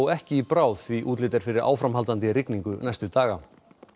ekki í bráð því útlit er fyrir áframhaldandi rigningu næstu daga